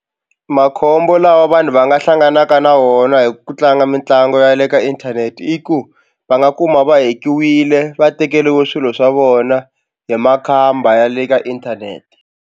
Makhombo lawa vanhu va nga hlanganaka na wona hi ku tlanga mitlangu ya le ka inthanete i ku va nga kuma va hack-iwile va tekeriwe swilo swa vona hi makhamba ya le ka inthanete.